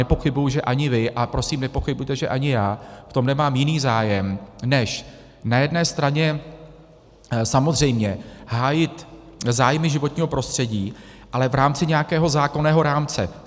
Nepochybuji, že ani vy, a prosím nepochybujte, že ani já v tom nemám jiný zájem než na jedné straně samozřejmě hájit zájmy životního prostředí, ale v rámci nějakého zákonného rámce.